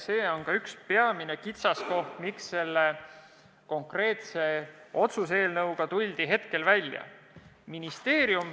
See on peamine kitsaskoht ja põhjus, miks selle otsuse eelnõuga välja tuldi.